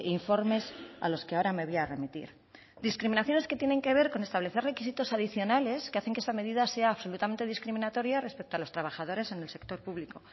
informes a los que ahora me voy a remitir discriminaciones que tienen que ver con establecer requisitos adicionales que hacen que esta medida sea absolutamente discriminatoria respecto a los trabajadores en el sector público